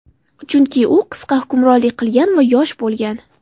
Chunki u qisqa hukmronlik qilgan va yosh bo‘lgan.